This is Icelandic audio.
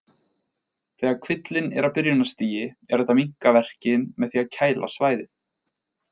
Þegar kvillinn er á byrjunarstigi er hægt að minnka verkinn með því að kæla svæðið.